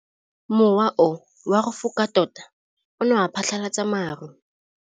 Mowa o wa go foka tota o ne wa phatlalatsa maru.